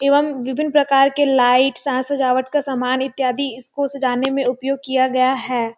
एवं विभिन्न प्रकार के लाइटस साज सजावट का सामान इत्यादि इसको सजाने में उपयोग किया गया है।